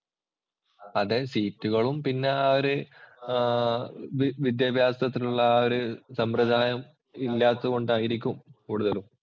അതേ. സീറ്റുകളും, പിന്നെ ആ ഒരു വിദ്യാഭ്യാസത്തിനുള്ള ആ ഒരു സമ്പ്രദായവും ഇല്ലാത്തത് കൊണ്ടായിരിക്കും കൂടുതലും.